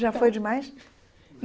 Já foi demais?